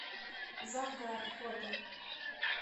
завгар фото